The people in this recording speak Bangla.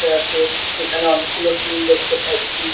করতে আসে। এখানে অনেকগুলো টুল দেখতে পাচ্ছি।